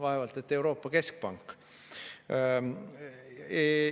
Vaevalt et Euroopa Keskpank.